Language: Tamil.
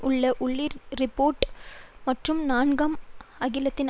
உள்ள உல்றிச் றிப்பேட் மற்றும் நான்காம் அகிலத்தின்